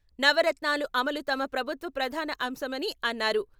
నవరత్నాలు అమలు తమ ప్రభుత్వ ప్రధాన అంశమని అన్నారు.